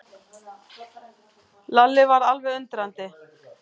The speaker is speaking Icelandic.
Lalli varð alveg undrandi.